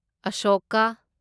Ashoka